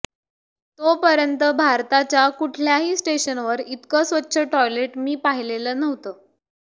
तो पर्यंत भारताच्या कुठल्याही स्टेशनवर इतकं स्वच्छ टॉयलेट मी पाहीलेलं नव्हतं